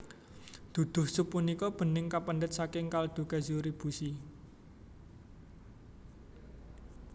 Duduh sup punika bening kapendhet saking kaldu kezuribushi